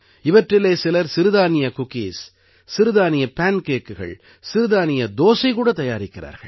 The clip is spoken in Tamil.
இவற்றிலே சிலர் சிறுதானிய குக்கீஸ் சிறுதானிய பேன் கேக்குகள் சிறுதானிய தோசை கூடத் தயாரிக்கிறார்கள்